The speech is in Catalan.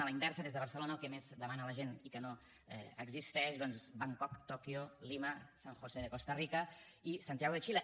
a la inversa des de barcelona el que més demana la gent i que no existeix doncs bangkok tòquio lima san josé de costa rica i santiago de xile